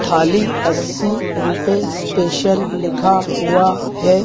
थाली अस्सी रुपए स्पेशल लिखा हुआ है।